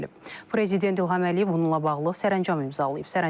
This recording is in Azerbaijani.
Prezident İlham Əliyev bununla bağlı sərəncam imzalayıb.